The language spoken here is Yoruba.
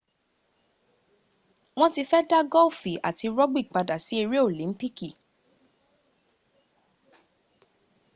won ti fe da golfi ati rugby pada si ere olimpiki